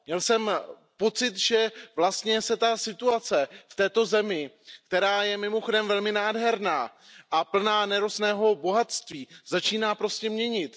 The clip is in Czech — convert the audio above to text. Měl jsem pocit, že vlastně se ta situace v této zemi, která je mimochodem velmi nádherná a plná nerostného bohatství, začíná prostě měnit.